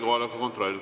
Kohaloleku kontroll.